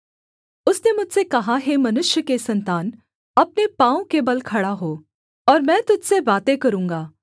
उसने मुझसे कहा हे मनुष्य के सन्तान अपने पाँवों के बल खड़ा हो और मैं तुझ से बातें करूँगा